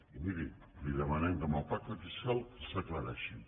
i miri li demanem que en el pacte fiscal s’aclareixin